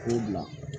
K'o bila